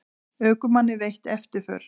Ökumanni veitt eftirför